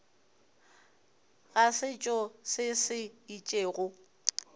ga setšo se se itšego